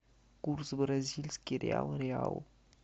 курс бразильский реал реал